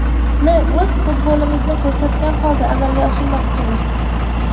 Uni o‘z futbolimizni ko‘rsatgan holda amalga oshirmoqchimiz.